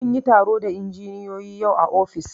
Mun yi taro da injiniyoyi yau a ofis